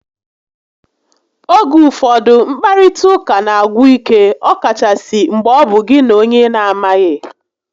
Oge ụfọdụ, nkparịta ụka n'agwụ ike ọkachasị mgbe ọ bụ gị na onye ị na amaghị